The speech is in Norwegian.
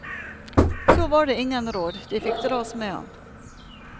Så var det ingen råd, de fikk dras med ham.